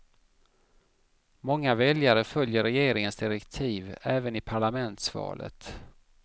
Många väljare följer regeringens direktiv även i parlamentsvalet.